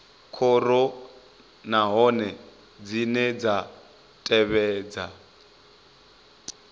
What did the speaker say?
khoro nahone dzine dza tevhedza